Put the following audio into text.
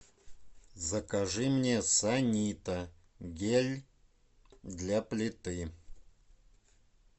закажи мне санита гель для плиты